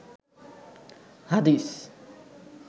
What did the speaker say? হাদিস